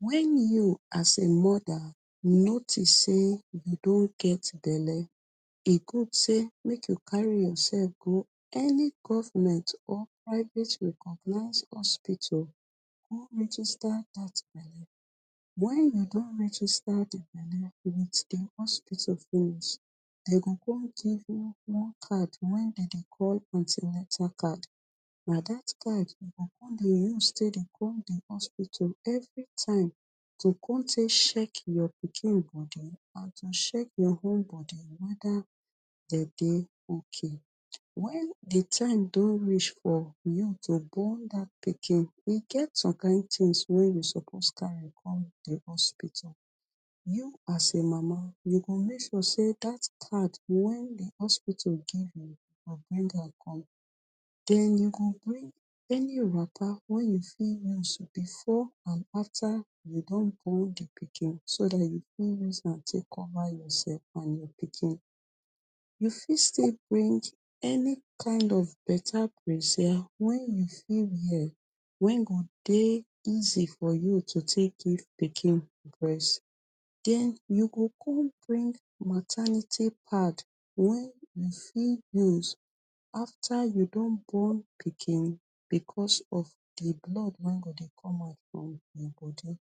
wen you as a mother notice say you don get belle e good say make you carry yourself go any government or private recognize hospital go register dat belle wen you don register di belle wit di hospital finish dem go come give you one card wen dem dey call antinetal card na dat card you come dey use come di hospital every time to come sheck your pikin and to sheck their bodi wether dem dey ok wen di time don reach for you to born dat pikin e get some kind tin way you carry go di hospital you as a mama you go make sure say dat card wen di hospital give you you bring am come den you go bring any of her wen you fit use before and after you don born di pikin so you fit use take cover yourself and your pikin you fit still bring any kind of better breazia wen you fit wear wen e go dey easy for you to use give pikin breast den you go come bring maternity pad wen dey fit use after you don born pikin because of di blood wen go come out from e body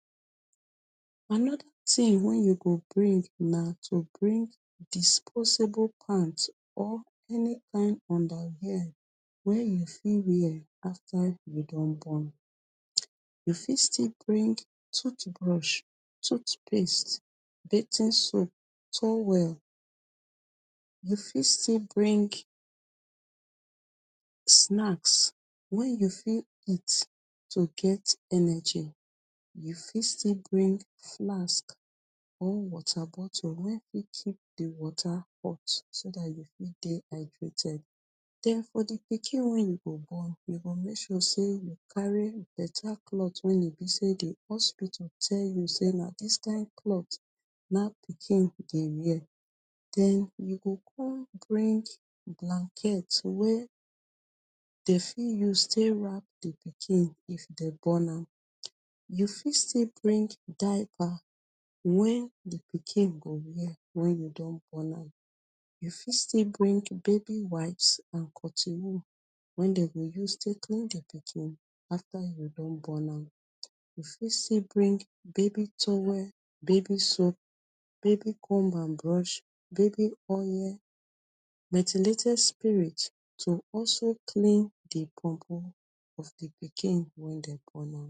anoda tin wen you go bring na to bring disposable pant or any kind underwear way you fit wear after you don born you fit still bring tooth brush tooth paste, bathing soap, towel you fit still bring snacks wen you fit eat to get energy you fit still bring flask or water bottle wen fit keep di water hot so dat you fit still dey hydrated den for pikin way you go born you go make sure say you carry better cloth wen e be say di hospital tell you say na di kind cloth na pikin dey wear den you go come bring blanket way dey fit use take wrap di pikin if dey born am you fit still bring diaper wen di pikin go wear wen you don born am you fit still bring baby wiper and cotton wool wen dey go use take clean di pikin after you don born am you fit still bring baby towell, baby soap, baby comb and brush baby oil, methylated spirit to also clean di buobuo of di pikin wen dey born now.